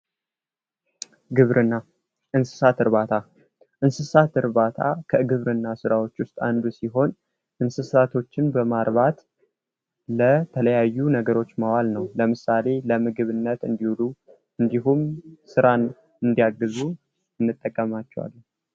ግብርና ፦እንስሳት እርባታ እንስሳት እርባታ ከግብርና ስራዎች ውስጥ አንዱ ሲሆን እንስሳቶቹን በማርባት ለተለያዩ ነገሮች ማዋል ነው። ለምሳሌ ለምግብነት እንዲውሉ እንዲሁም ስራን እንዲያግዙ እንጠቀማቸዋለን።